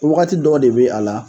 Wagati dɔw de bɛ a la